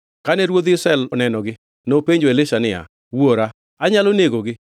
Kane ruodh Israel onenogi nopenjo Elisha niya, Wuora, anyalo negogi?